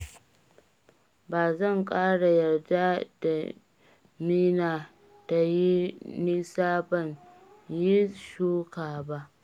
Ba zan ƙara yarda damina ta yi nisa ban yi shuka ba